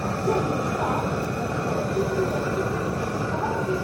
अद्य मिलित्वा तत् चलच्चित्रं द्रष्टुं उत्सुकः अस्मि।